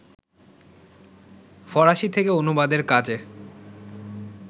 ফরাসি থেকে অনুবাদের কাজে